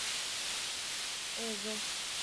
эзо